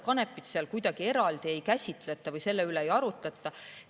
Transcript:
Kanepit kuidagi eraldi ei käsitleta või selle üle ei arutleta.